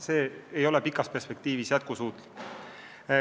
See ei ole pikas perspektiivis jätkusuutlik.